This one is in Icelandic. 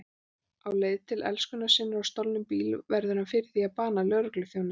Á leið til elskunnar sinnar á stolnum bíl verður hann fyrir því að bana lögregluþjóni.